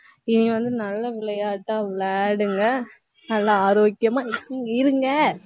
இனி வந்து, நல்ல விளையாட்டா விளையாடுங்க. நல்லா ஆரோக்கியமா இருங்க